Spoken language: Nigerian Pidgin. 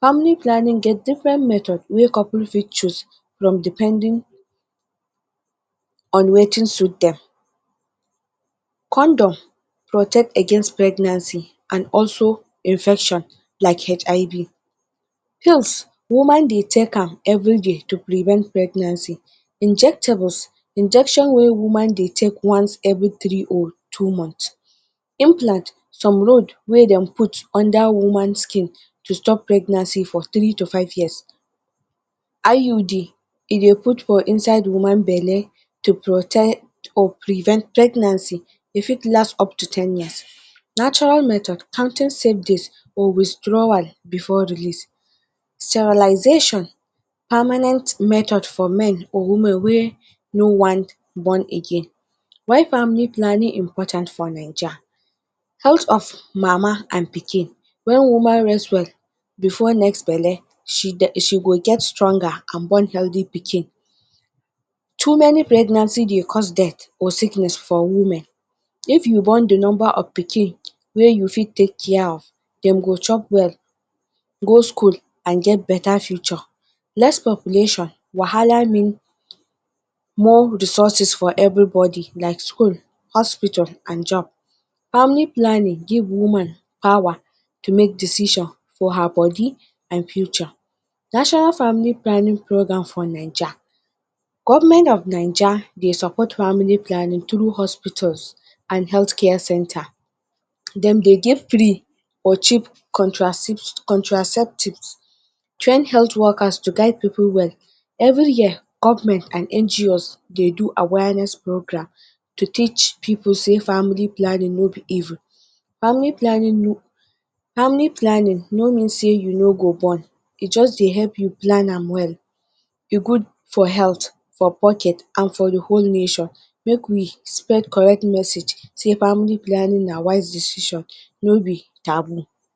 Family planning get different method way person fit choose from depending on wetin suit them. Condom protect against pregnancy and also infection like HIV. Pills woman they take am every day to prevent pregnancy. Injectable, injections way woman they take every three or two months, implant some root wey they put under woman skin to prevent pregnancy from three to five years. IUD e they put for inside woman bele to protector prevent pregnancy, e fit last up to ten years. Natural method, counting safe days or withdrawal before release, sterilization permanent method for women or men wey no want born again. Why family planning dey important for Naija Health of mama and pikin when woman rest well before next bele she go get stronger, too many pregnancy they cause death and sickness for women, if you born the number of pikin wey you fit take care, them go chop well, go school and get better future. Less population wahala mean more resources for every body like school, hospital and job. Family planning give woman power to make decision for her body and future. National family programme for Naija, government of Naija support family planning through hospitals, healthcare centre. Them they give cheap contraceptive, train health workers to guide people well. Every year government and NGO`s they do awareness programme to teach people say family planning no be evil. Family planning, family planning no mean say you no go born, e just they help you plan am well, e good for health, for pocket and for the nation make we spread correct message say family planning na wise decision no be taboo.